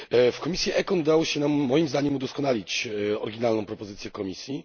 W komisji ECON udało się nam moim zdaniem udoskonalić oryginalną propozycję Komisji.